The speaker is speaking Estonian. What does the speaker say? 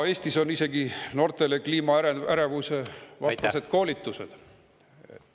Eestis on noortele isegi kliimaärevusvastased koolitused.